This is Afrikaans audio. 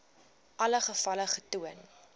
alle gevalle getoon